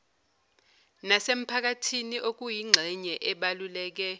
nasemphakathini okuyingxenye ebaluleke